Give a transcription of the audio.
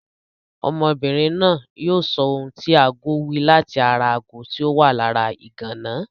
Ọmọbìnrin náà yóò sọ ohun tí agó wí láti ara ago tí ó wà lára ìgànná.